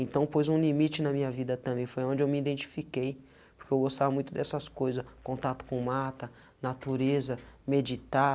Então, pôs um limite na minha vida também foi onde eu me identifiquei, porque eu gostava muito dessas coisa, contato com mata, natureza, meditar,